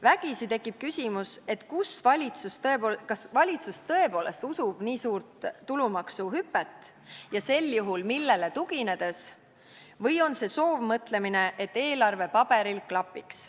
Vägisi tekib küsimus, kas valitsus tõepoolest usub nii suurt tulumaksuhüpet ja millele tuginedes, või on see soovmõtlemine, et eelarve paberil klapiks.